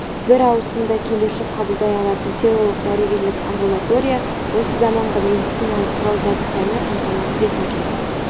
бір ауысымда келуші қабылдай алатын селолық дәрігерлік амбулатория осы заманғы медициналық құрал-жабдықтармен қамтамасыз етілген